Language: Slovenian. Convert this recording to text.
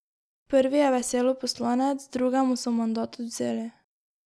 Prvi je veselo poslanec, drugemu so mandat odvzeli.